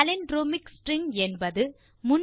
palindromic string என்பது